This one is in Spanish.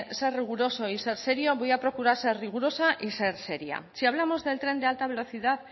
ser riguroso y ser serio voy a procurar ser rigurosa y ser seria si hablamos del tren de alta velocidad